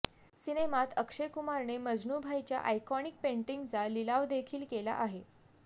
सिनेमात अक्षय कुमारने मजनू भाईच्या आयकॉनिक पेंटींगचा लिलावदेखील केला आहे